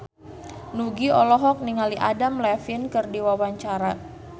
Nugie olohok ningali Adam Levine keur diwawancara